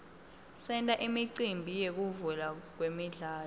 senta imicimbi yekuvulwa kwemidlalo